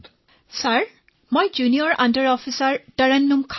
তৰন্নুম খানঃ মহাশয় মোৰ নাম জুনিয়ৰ আণ্ডাৰ অফিচাৰ তৰন্নুম খান